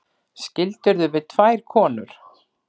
Skildirðu við tvær konur?